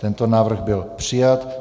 Tento návrh byl přijat.